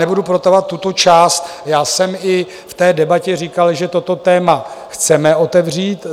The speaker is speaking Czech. Nebudu protahovat tuto část, já jsem i v té debatě říkal, že toto téma chceme otevřít.